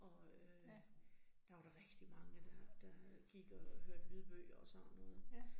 Og øh der var der rigtig mange, der der gik og hørte lydbøger og sådan noget